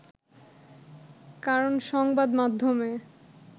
কারণ সংবাদ মাধ্যমে